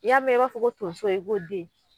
N'i y'a mɛn i b'a fɔ ko tonso i ko den